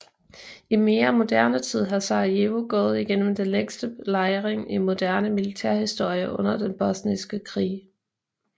I mere moderne tid har Sarajevo gået igennem den længste belejring i moderne militærhistorie under den bosniske krig